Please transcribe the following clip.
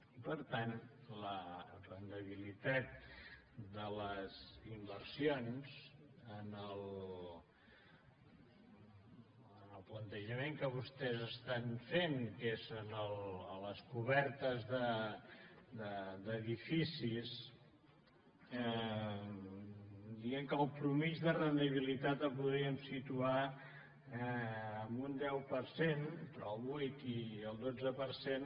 i per tant la rendibilitat de les inversions en el plantejament que vostès fan que és a les cobertes d’edificis que diuen que la mitjana de rendibilitat la podríem situar en un deu per cent entre el vuit i el dotze per cent